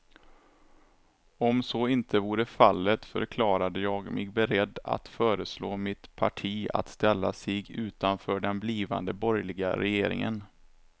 Om så inte vore fallet förklarade jag mig beredd att föreslå mitt parti att ställa sig utanför den blivande borgerliga regeringen.